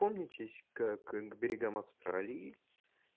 помнитесь как к берегам австралии